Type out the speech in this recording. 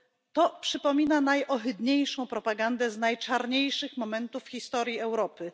To przypomina najohydniejszą propagandę z najczarniejszych momentów w historii Europy.